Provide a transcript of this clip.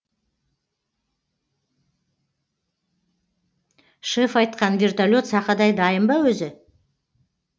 шеф айтқан вертолет сақадай дайын ба өзі